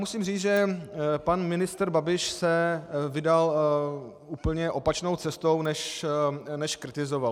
Musím říct, že pan ministr Babiš se vydal úplně opačnou cestou, než kritizoval.